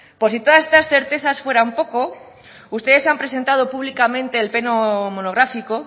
por si todas estas certezas fueran poco ustedes han presentado públicamente el pleno monográfico